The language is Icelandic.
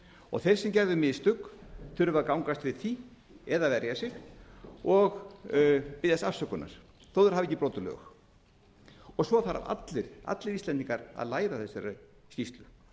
og þeir sem gerðu mistök þurfa að gangast við því eða verja sig og biðjast afsökunar þó þeir hafi ekki brotið lög svo þurfa allir íslendingar að læra af þessari skýrslu